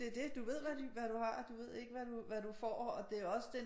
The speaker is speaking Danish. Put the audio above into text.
Det det du ved hvad du har du ved ikke hvad du hvad du får og det er også det